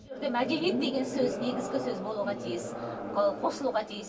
мәдениет деген сөз негізгі сөз болуға тиіс қосылуға тиіс